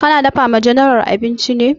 Ka na dafa wa general abinci ne?